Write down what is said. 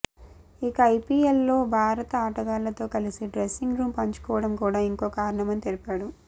ఇక ఐపీఎల్లో భారత ఆటగాళ్లతో కలిసి డ్రెస్సింగ్ రూమ్ పంచుకోవడం కూడా ఇంకో కారణమని తెలిపాడు